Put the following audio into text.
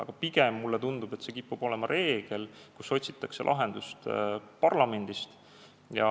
Aga pigem tundub mulle, et kipub olema reegel, et lahendust otsitakse parlamendist.